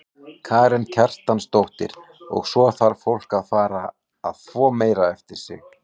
Karen Kjartansdóttir: Og svo þarf fólk að fara að þvo meira eftir sig?